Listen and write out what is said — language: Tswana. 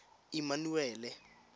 emmanuele